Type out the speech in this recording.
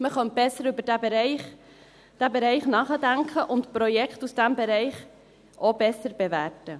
Man könnte besser über diesen Bereich nachdenken und Projekte aus diesem Bereich auch besser bewerten.